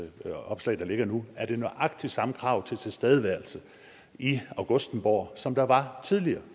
der ligger nu er nøjagtig de samme krav til tilstedeværelse i augustenborg som der var tidligere